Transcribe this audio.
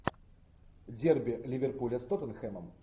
дерби ливерпуля с тоттенхэмом